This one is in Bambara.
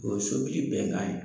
O bɛ so bili bɛ k'a ye.